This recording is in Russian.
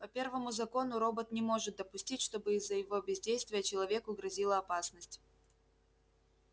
по первому закону робот не может допустить чтобы из-за его бездействия человеку грозила опасность